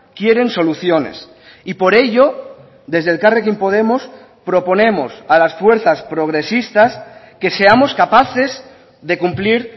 quieren soluciones y por ello desde elkarrekin podemos proponemos a las fuerzas progresistas que seamos capaces de cumplir